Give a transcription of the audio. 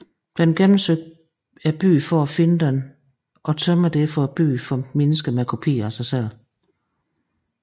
Den gennemsøger byen for at finde den og tømmer derfor byen for mennesker med kopier af sig selv